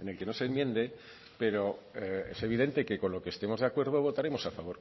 en el que no se enmiende pero es evidente que con lo que estemos de acuerdo votaremos a favor